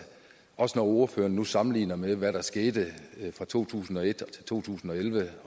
også når ordføreren nu sammenligner med hvad der skete fra to tusind og et til to tusind og elleve